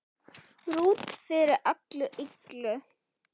Ruth fyrir öllu illu.